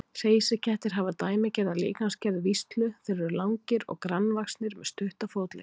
Hreysikettir hafa dæmigerða líkamsgerð víslu, þeir eru langir og grannvaxnir með stutta fótleggi.